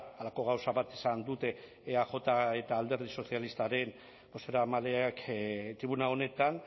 halako gauza bat esan dute eaj eta alderdi sozialistaren bozeramaleak tribuna honetan